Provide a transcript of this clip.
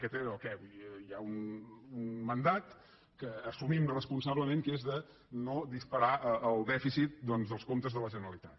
aquest era el què hi ha un mandat que assumim responsablement que és de no disparar el dèficit dels comptes de la generalitat